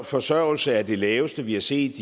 forsørgelse er det laveste vi har set